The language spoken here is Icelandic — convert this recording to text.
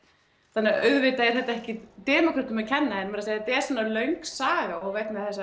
þannig að auðvitað er þetta ekki demókrötum að kenna en þetta er svona löng saga og vegna þess